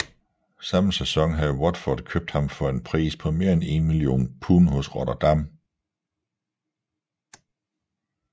Samme sæson havde Watford købt ham for en pris på mere end 1 million pund hos Rotherham